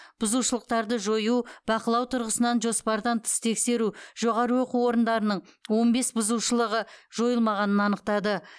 бұзушылықтарды жою бақылау тұрғысынан жоспардан тыс тексеру жоғары оқу орындарының он бес бұзушылығы жойылмағанын анықтады